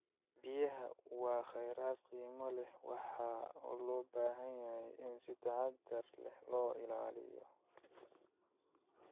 Biyaha waa kheyraad qiimo leh oo u baahan in si taxadar leh loo ilaaliyo.